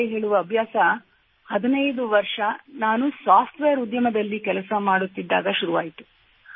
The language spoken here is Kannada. ಕತೆ ಹೇಳುವ ಅಭ್ಯಾಸ 15 ವರ್ಷಗಳ ಹಿಂದೆ ನಾನು ಸಾಫ್ಟ್ ವೇರ್ ಉದ್ಯಮದಲ್ಲಿ ಕೆಲಸ ಮಾಡುತ್ತಿದ್ದಾಗ ಆರಂಭವಾಯಿತು